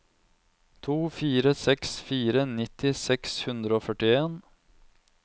to fire seks fire nitti seks hundre og førtien